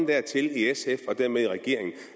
dertil i sf og dermed i regeringen